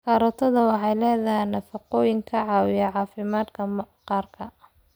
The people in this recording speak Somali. Karootada waxay leedahay nafaqooyin ka caawiya caafimaadka maqaarka.